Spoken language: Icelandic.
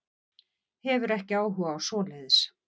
Hefur ekki áhuga á svoleiðis.